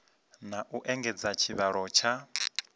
na u engedza tshivhalo tsha